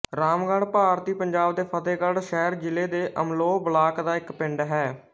ਰਾਮਗੜ੍ਹ ਭਾਰਤੀ ਪੰਜਾਬ ਦੇ ਫ਼ਤਹਿਗੜ੍ਹ ਸਾਹਿਬ ਜ਼ਿਲ੍ਹੇ ਦੇ ਅਮਲੋਹ ਬਲਾਕ ਦਾ ਇੱਕ ਪਿੰਡ ਹੈ